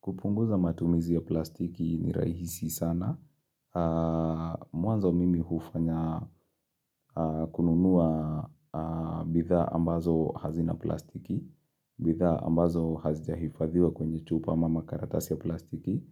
Kupunguza matumizi ya plastiki ni rahisi sana. Mwanzo mimi hufanya kununua bithaa ambazo hazina plastiki. Bithaa ambazo hazija hifadhiwa kwenye chupa ama makaratasi ya plastiki.